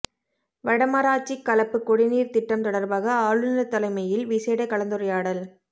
வடமராட்சி களப்பு குடிநீர் திட்டம் தொடர்பாக ஆளுநர் தலைமையில் விசேட கலந்துரையாடல்